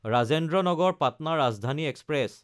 Rajendra Nagar Patna Rajdhani express